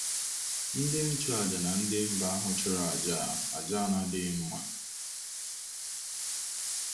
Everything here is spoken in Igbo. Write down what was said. Ndị nchụàjà na ndị mba ahụ chụrụ àjà a àjà a na-adịghị mma.